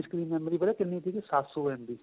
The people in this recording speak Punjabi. disk memory ਪਤਾ ਕਿੰਨੀ ਸੀ ਸੱਤ ਸੋ MB